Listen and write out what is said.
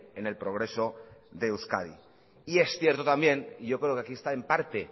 en el progreso de euskadi y es cierto también y yo creo que aquí está en parte